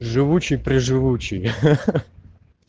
живучий при живучий ха-ха